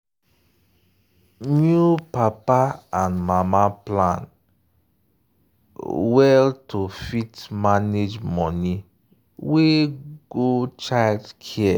new papa and mama plan well to fit manage money wey go childcare.